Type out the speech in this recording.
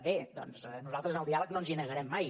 bé doncs nosaltres al diàleg no ens hi negarem mai